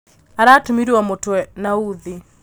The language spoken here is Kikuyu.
Aratumirwo mũtwe na uthi.